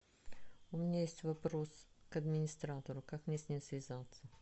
у меня есть вопрос к администратору как мне с ним связаться